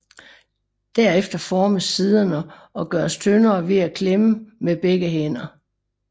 Derefter formes siderne og gøres tyndere ved at klemme med begge hænderne